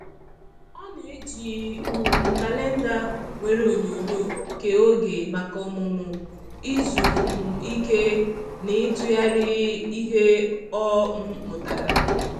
Ọ na-eji um kalenda nwere onyonyo kee oge maka ọmụmụ, izu um ike, na ịtụgharị ihe ọ um mụtara.